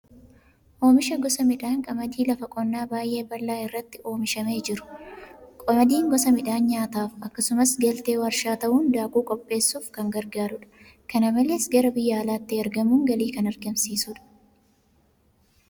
Oomisha gosa midhaan qamadii lafa qonnaa baay'ee bal'aa irratti oomishamee jiru. Qamadiin gosa midhaanii nyaataaf akkasumas galtee warshaa ta'uun daakuu qopheessuuf kan gargaarudha. Kana malees gara biyya alaatti ergamuun galii kan argamsiisudha.